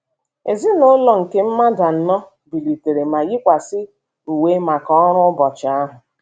Ezinụlọ nke mmadụ anọ bilitere ma yikwasịa uwe maka ọrụ ụbọchị ahụ.